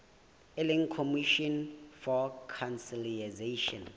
e leng commission for conciliation